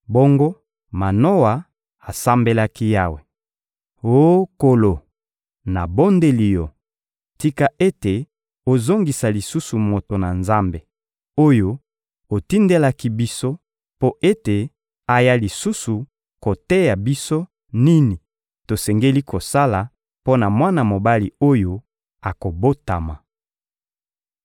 Bongo Manoa asambelaki Yawe: «Oh Nkolo, nabondeli Yo: tika ete ozongisa lisusu moto na Nzambe, oyo otindelaki biso, mpo ete aya lisusu koteya biso nini tosengeli kosala mpo na mwana mobali oyo akobotama!»